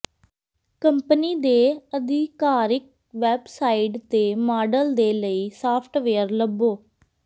company ਦੇ ਆਧਿਕਾਰਿਕ website ਤੇ ਮਾਡਲ ਦੇ ਲਈ ਸਾਫਟਵੇਅਰ ਲੱਭੋ